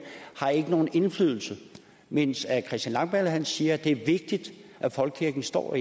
har ikke nogen indflydelse men christian langballe siger det er vigtigt at folkekirken står